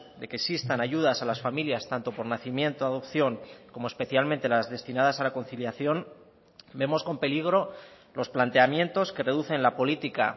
de que existan ayudas a las familias tanto por nacimiento adopción como especialmente las destinadas a la conciliación vemos con peligro los planteamientos que reducen la política